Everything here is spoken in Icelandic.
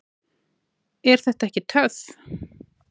Er þetta ekki töff?